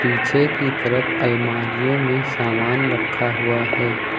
पीछे की तरफ अलमारीयो में सामान रखा हुआ है।